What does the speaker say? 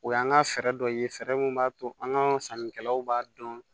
O y'an ka fɛɛrɛ dɔ ye fɛɛrɛ min b'a to an ka sannikɛlaw b'a dɔn